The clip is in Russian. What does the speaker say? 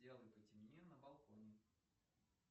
сделай потемнее на балконе